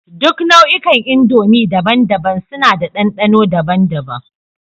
Duk nau'ikan indomie daban-daban suna da dandano daban-daban